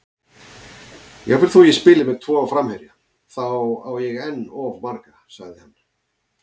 Jafnvel þó ég spili með tvo framherja, þá á ég enn of marga, sagði hann.